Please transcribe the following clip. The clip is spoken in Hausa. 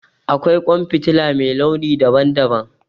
Akwai ƙwan fitila mai launi daban daban